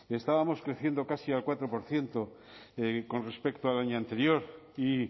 estábamos creciendo casi al cuatro por ciento con respecto al año anterior y